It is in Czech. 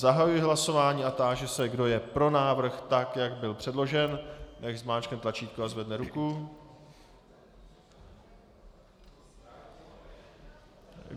Zahajuji hlasování a táži se, kdo je pro návrh tak, jak byl předložen, nechť zmáčkne tlačítko a zvedne ruku.